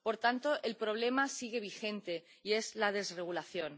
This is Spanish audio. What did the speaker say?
Por tanto, el problema sigue vigente, y es la desregulación.